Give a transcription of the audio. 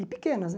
E pequenas, né?